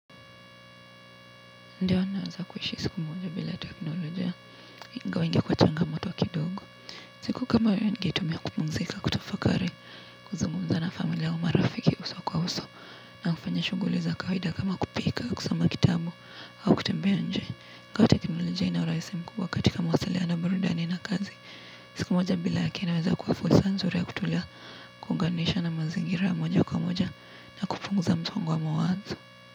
Ndiyo, naweza kuishi siku moja bila teknoloja ingawa itakuwa changamoto kidogo siku kama hiyo ningeitumia kupumzika, kutafakari, kuzungumza na familia au marafiki uso kwa uso na kufanya shughuli za kawaida kama kupika kusoma kitabu au kutembea nje, kwa teknoloja inaurahisi mkubwa katika mawasiliano, burudani na kazi siku moja bila yake inaweza kuwa fursa nzuri ya kutulia kuunganisha na mazingira moja kwa moja na kupunguza msongo wa mawazo.